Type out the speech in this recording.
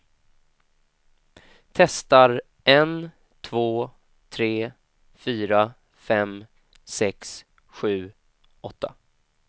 Testar en två tre fyra fem sex sju åtta.